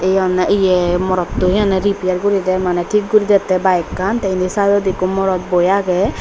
he honnay ye morot to he honne repair gorider manay tik guri datay bike kan tay endi sidodi eko morot boi aagay side.